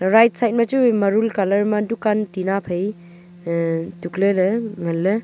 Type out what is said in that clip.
right side machu marul colour ma dukan tina phai aa tukle ley ngan ley.